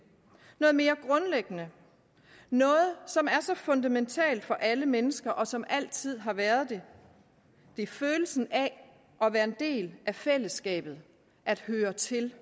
noget mere grundlæggende noget som er fundamentalt for alle mennesker og som altid har været det det er følelsen af at være en del af fællesskabet at høre til